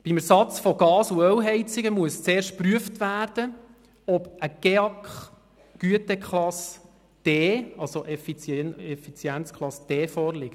Beim Ersatz von Gas- und Ölheizungen muss zuerst geprüft werden, ob eine GEAK-Güteklasse D, also eine Effizienzklasse D, vorliegt.